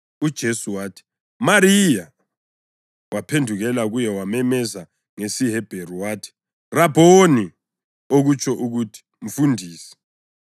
UJesu wathi, “Mariya.” Waphendukela kuye wamemeza ngesiHebheru wathi, “Rabhoni!” (okutsho ukuthi “Mfundisi”).